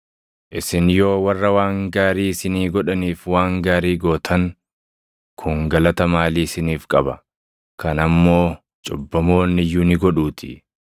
Isin yoo warra waan gaarii isinii godhaniif waan gaarii gootan, kun galata maalii isiniif qaba? Kana immoo cubbamoonni iyyuu ni godhuutii.